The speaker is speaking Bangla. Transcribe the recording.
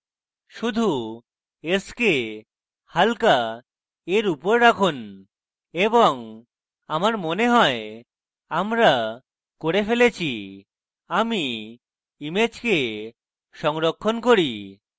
শুধু s curve হালকা এর উপর রাখুন এবং আমার মনে হয় আমরা করে ফেলেছি আমি image সংরক্ষণ করি